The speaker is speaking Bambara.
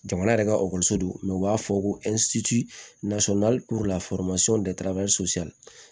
Jamana yɛrɛ ka ekɔliso don u b'a fɔ ko